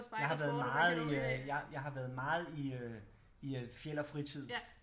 Jeg har været meget i øh jeg har været meget i øh i Fjeld og fritid